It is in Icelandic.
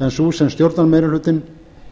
en sú sem stjórnarmeirihlutinn